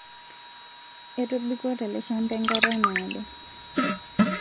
Etobiko te le shamba enkata naado